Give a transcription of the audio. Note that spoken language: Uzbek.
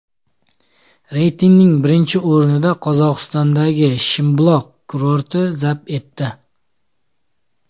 Reytingning birinchi o‘rnini Qozog‘istondagi Shimbuloq kurorti zabt etdi.